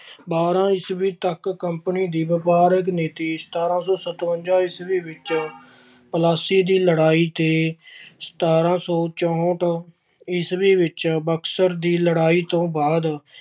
ਬਾਰ੍ਹਾਂ ਈਸਵੀ ਤੱਕ company ਦੀ ਵਪਾਰਕ ਨੀਤੀ ਸਤਾਰਾਂ ਸੌ ਸਤਵੰਜਾ ਈਸਵੀ ਵਿੱਚ, ਪਲਾਸੀ ਦੀ ਲੜਾਈ ਤੇ ਸਤਾਰਾਂ ਸੌ ਚੌਹਠ ਈਸਵੀ ਵਿੱਚ ਬਕਸਰ ਦੀ ਲੜਾਈ ਤੋਂ ਬਾਅਦ